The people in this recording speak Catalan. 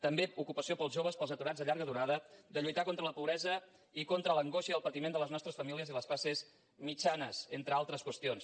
també ocupació per als joves per als aturats de llarga durada de lluitar contra la pobresa i contra l’angoixa i el patiment de les nostres famílies i les classes mitjanes entre altres qüestions